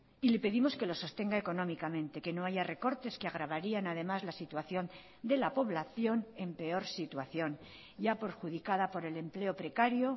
y le pedimos que lo sostenga económicamente que no haya recortes que agravarían además la situación de la población en peor situación ya perjudicada por el empleo precario